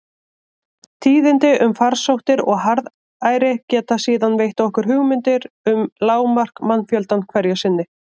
Tíðindi um farsóttir og harðæri geta síðan veitt okkur hugmynd um lágmark mannfjöldans hverju sinni.